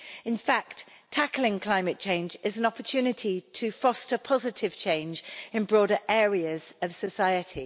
In fact, tackling climate change is an opportunity to foster positive change in broader areas of society.